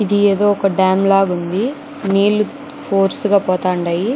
ఇది ఏదో ఒక డ్యామ్ లాగా ఉంది. నీళ్లు ఫోర్స్ గా పోతాండై.